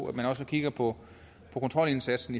at man også kigger på kontrolindsatsen